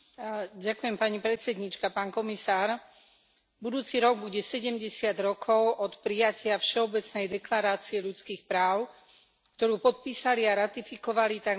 Pán komisár, budúci rok bude 70 rokov od prijatia Všeobecnej deklarácie ľudských práv, ktorú podpísali a ratifikovali takmer všetky krajiny sveta.